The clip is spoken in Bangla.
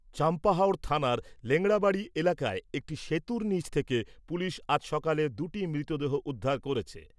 চাম্পাহাওড় থানার লেংরাবাড়ি এলাকায় একটি সেতুর নিচ থেকে পুলিশ আজ সকালে দুটি মৃতদেহ উদ্ধার করেছে।